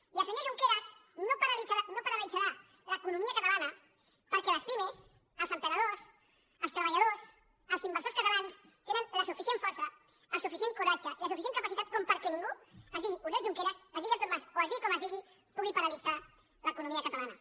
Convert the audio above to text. i el senyor junqueras no paralitzarà l’economia catalana perquè les pimes els emprenedors els treballadors els inversors catalans tenen la suficient força el suficient coratge i la suficient capacitat com perquè ningú es digui oriol junqueras es digui artur mas o es digui com es digui pugui paralitzar l’economia catalana